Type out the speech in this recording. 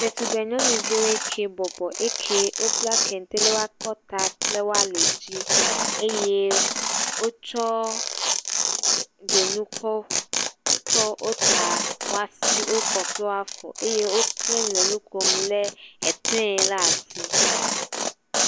Ɖetugbe nyɔnuviwo ke bɔbɔ eke wobla kente ɖe wo akɔta kɔ kple wa li dzi eye wotsɔ dzonu kɔ tsɔ wota wa si wo kɔ kple wa fɔ eye woklẽ le nu kom lé etre la asi.